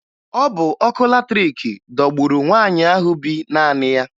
Ọ bụ ọkụ latrịịkị dọgburu nwaanyị ahụ bi naanị ya